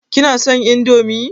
Kina son indomie?